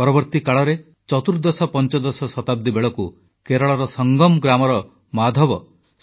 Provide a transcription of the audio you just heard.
ପରବର୍ତ୍ତୀ କାଳରେ ଚତୁର୍ଦ୍ଦଶପଞ୍ଚଦଶ ଶତାବ୍ଦୀ ବେଳକୁ କେରଳର ସଂଗମ୍ ଗ୍ରାମର ମାଧବ